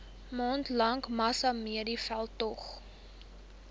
maande lange massamediaveldtog